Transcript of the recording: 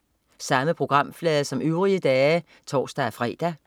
Samme programflade som øvrige dage (tors-fre)